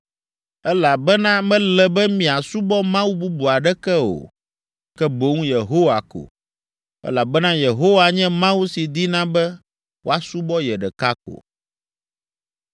elabena mele be miasubɔ mawu bubu aɖeke o, ke boŋ Yehowa ko, elabena Yehowa nye Mawu si dina be woasubɔ ye ɖeka ko.